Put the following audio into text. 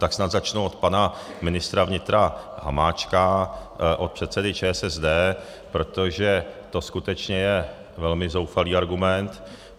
Tak snad začnu od pana ministra vnitra Hamáčka, od předsedy ČSSD, protože to skutečně je velmi zoufalý argument.